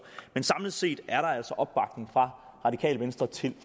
men samlet set er der altså opbakning fra radikale venstre til